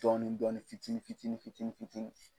Dɔɔnin dɔɔnin fitini fitini fitini fitini